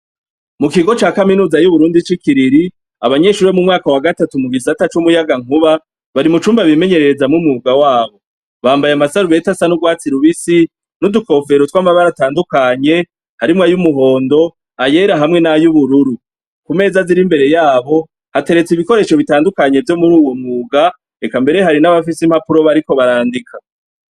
Muikigo ca kaminuza y'i kiriri, abanyeshure bo mu mwaka wa gatatu wo mu gisata c'umuyagankuba, bari mucumba bimenyererezamwo umwuga wabo. Bambaye amasarubeti asa n'urwatsi rubisi n'udukofero tw'amabara atandukanye harimwo ay'umuhondo, ayera hamwe n'ay'ubururu. Ku meza ziri imbere yabo, hateretse ibikoresho bitandukanye vyo muru uwo mwuga eka mbere hari n'abafite impapuro bariko barandika.